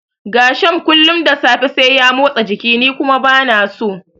Gershom kullum da safe sai ya motsa jiki ni kuma bana so.